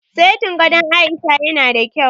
Setin gadon Aisha ya na da kyau